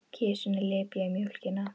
Kisurnar lepja mjólkina.